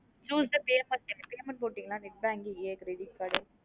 Use the payment term payment போட்டீங்களா net banking a credit card.